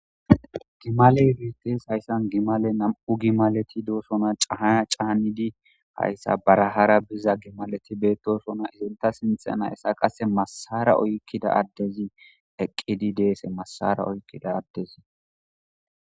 Gimale wites hayssan gimale nam'u gimaleti doosona cahaa caanidi hayssa barahara biza gimaleti beettosona izinta sinthena essa qase masara oykkida addezi eqqidi deese massara oykkida addezi